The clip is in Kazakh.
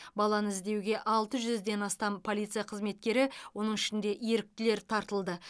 баланы іздеуге алты жүзден астам полиция қызметкері оның ішінде еріктілер тартылды